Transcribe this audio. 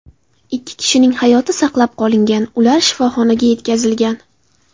Ikki kishining hayoti saqlab qolingan, ular shifoxonaga yetkazilgan.